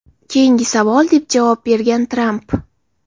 Keyingi savol!” deb javob bergan Tramp.